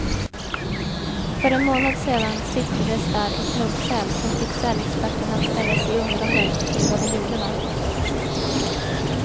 För en månad sedan siktades där en knubbsäl, som fick sälexperterna att ställa sig undrande till vad den gjorde där.